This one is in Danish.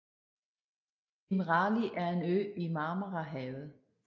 Imrali er en ø i Marmarahavet